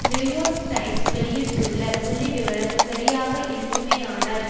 New York Times வெளியிட்டுள்ள புள்ளிவிபரம் சரியாக இருக்குமானால்